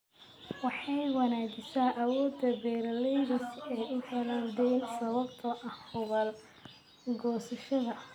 Waxay wanaajisaa awoodda beeralayda si ay u helaan deyn sababtoo ah hubaal goosashada.